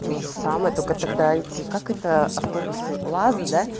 тоже самое только тогда идти как это автобусы лазы да